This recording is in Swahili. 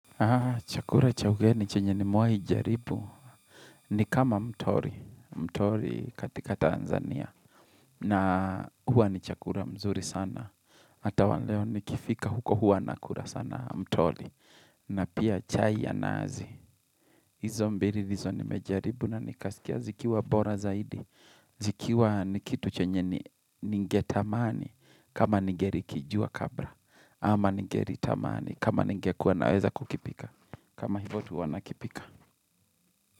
Chakura cha ugeni chenye nimewahi jaribu ni kama mtori mtori katika Tanzania na hua ni chakura mzuri sana Hata waleo nikifika huko hua nakura sana mtori na pia chai ya nazi Izo mbili ndizo ni mejaribu na nikasikia zikiwa bora zaidi zikiwa nikitu chenye ningetamani kama ningeri kijua kabra Ama ningeritamani kama ningekuwa naweza kukipika kama hivo tu wanakipika.